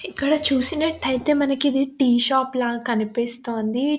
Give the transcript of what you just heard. ఇక్కడ చూసినట్టయితే మనకి ఇదొక టీ షాప్ లా కనిపిస్తుంది.